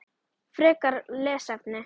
Frekara lesefni